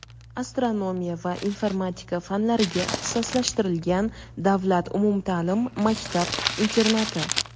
astronomiya va informatika fanlariga ixtisoslashtirilgan davlat umumta’lim maktab-internati.